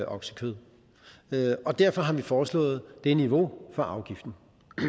oksekød og derfor har vi foreslået det niveau for afgiften